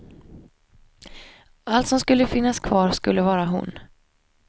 Allt som skulle finnas kvar skulle vara hon.